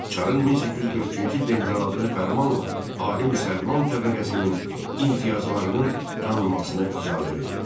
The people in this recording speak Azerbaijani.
Çarın 1843-cü ildə imzaladığı fərmanla ali müsəlman təbəqəsinin imtiyazlarının tanınmasına icazə verildi.